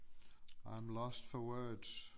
I'm lost for words